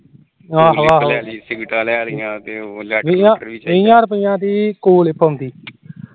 ਤੀਹਾ ਰੁਪੀਆਂ ਦੀ ਕੂਲਲਿਪ ਆਉਂਦੀ